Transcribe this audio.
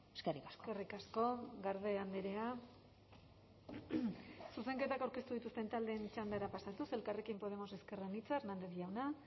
eskerrik asko eskerrik asko garde andrea zuzenketak aurkeztu dituzten taldeen txandara pasatuz elkarrekin podemos ezker anitza hernández jauna